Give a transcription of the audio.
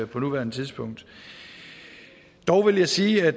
på nuværende tidspunkt dog vil jeg sige at